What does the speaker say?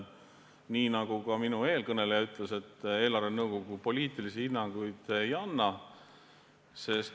Nii nagu eelkõneleja ütles, ka eelarvenõukogu poliitilisi hinnanguid ei anna.